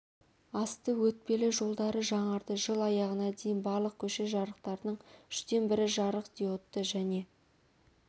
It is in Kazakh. асты өтпелі жолдары жаңарды жыл аяғына дейін барлық көше жарықтарының үштен бірі жарық диодты және